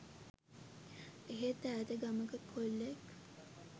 එහෙත් ඈත ගමක කොල්ලෙක්